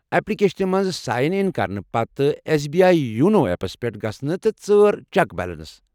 اٮ۪پلِکیشنہِ منٛز sign in کرنہٕ پتہٕ S B I YONO apps پٮ۪ٹھ گژھ تہٕ ژارچٮ۪ک بیلنس۔